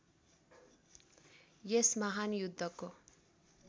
यस महान् युद्धको